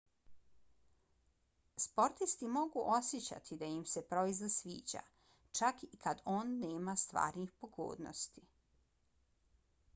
sportisti mogu osjećati da im se proizvod sviđa čak i kad on nema stvarnih pogodnosti